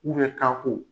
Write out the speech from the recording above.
kanko